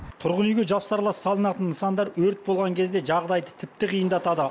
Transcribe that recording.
тұрғын үйге жапсарлас салынатын нысандар өрт болған кезде жағдайды тіпті қиындатады